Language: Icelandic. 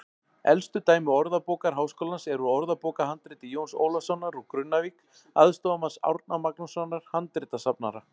Elsta dæmi Orðabókar Háskólans er úr orðabókarhandriti Jóns Ólafssonar úr Grunnavík, aðstoðarmanns Árna Magnússonar handritasafnara.